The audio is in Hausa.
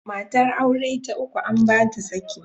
Matar aure ta uku an ba ta saki.